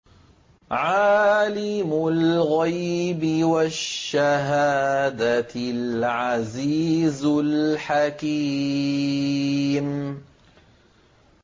عَالِمُ الْغَيْبِ وَالشَّهَادَةِ الْعَزِيزُ الْحَكِيمُ